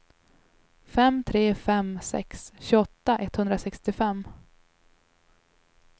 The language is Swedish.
fem tre fem sex tjugoåtta etthundrasextiofem